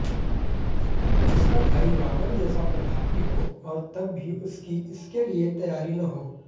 जिसका भाई रावण जैसा प्रतापी हो और तब भी उसकी इसके लिए तैयारी न हो